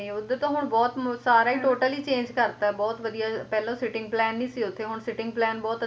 ਉਧਰ ਤਾਂ ਹੁਣ ਬਹੁਤ ਸਾਰਾ ਹੀ Total change ਕਰਤਾ ਬਹੁਤ ਵਧੀਆ ਪਹਿਲਾ sitting plain ਨਹੀਂ ਸੀ ਉੱਥੇ ਹੁਣ sitting plain ਬਹੁਤ